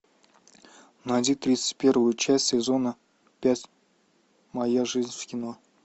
найди тридцать первую часть сезона пять моя жизнь в кино